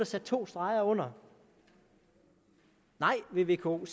sat to streger under nej vil vko